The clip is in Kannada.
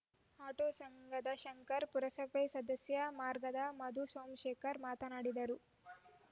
ಆಟೋ ಸಂಘದ ಶಂಕರ್‌ ಪುರಸಭಾ ಸದಸ್ಯ ಮಾರ್ಗದ ಮಧು ಸೋಮಶೇಖರ್‌ ಮಾತನಾಡಿದರು